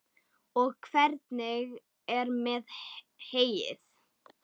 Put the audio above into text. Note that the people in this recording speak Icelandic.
Og hvernig er með heyið?